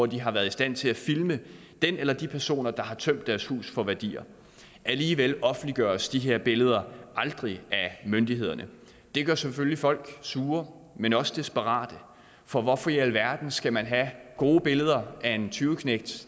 de har været i stand til at filme den eller de personer der har tømt deres hus for værdier alligevel offentliggøres disse billeder aldrig af myndighederne det gør selvfølgelig folk ikke sure men også desperate for hvorfor i alverden skal man have gode billeder af en tyveknægt